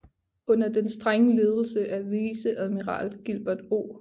Under den strenge ledelse af viceadmiral Gilbert O